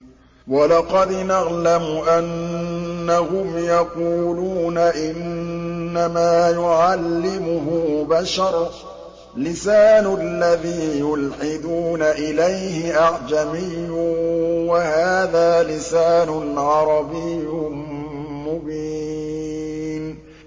وَلَقَدْ نَعْلَمُ أَنَّهُمْ يَقُولُونَ إِنَّمَا يُعَلِّمُهُ بَشَرٌ ۗ لِّسَانُ الَّذِي يُلْحِدُونَ إِلَيْهِ أَعْجَمِيٌّ وَهَٰذَا لِسَانٌ عَرَبِيٌّ مُّبِينٌ